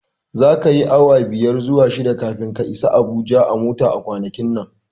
Zaka yi awa biyar zuwa shida kafin ka isa Abuja a mota a kwanakin nan.